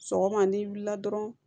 Sɔgɔma n'i wulila dɔrɔn